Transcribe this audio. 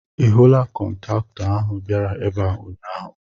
Ị hụla kọntaktọ ahụ bịara ebe a ụnyaahụ.?